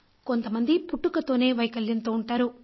కొంత మంది పుట్టుకతోనే వైకల్యంతో ఉంటారు